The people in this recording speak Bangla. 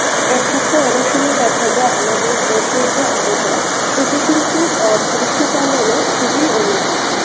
এক্ষেত্রে অনেক সময় দেখা যায় আমাদের দেশের যা আবহাওয়া সেটি কিন্তু অ্যাঁ পশুপালনে খুবই অনুকূল.